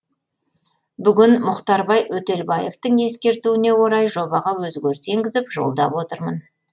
бүгін мұхтарбай өтелбаевтың ескертуіне орай жобаға өзгеріс енгізіп жолдап отырмын